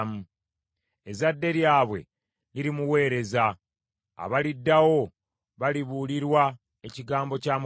Ezadde lyabwe lirimuweereza; abaliddawo balibuulirwa ekigambo kya Mukama.